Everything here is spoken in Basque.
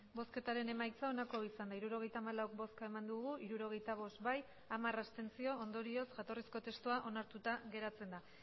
emandako botoak hirurogeita hamalau bai hirurogeita bost abstentzioak hamar ondorioz jatorrizko testua onartuta geratzen da